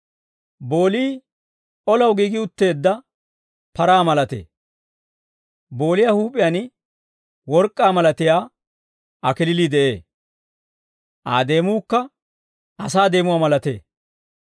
Boolii olaw giigi utteedda paraa malatee. Booliyaa huup'iyaan work'k'aa malatiyaa kalachchay de'ee; Aa deemuukka asaa deemuwaa malatee.